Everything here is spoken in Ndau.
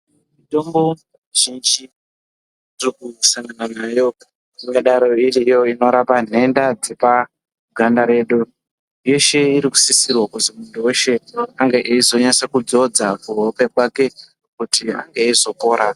Mitombo mizhinji yatiri kusangana nayo ingadai iriyo inorapa nhenda dzaka ganda redu yeshe inosisirwa kuti muntu weshe ange eizodzodza kuhope yake kuti ange eizopora.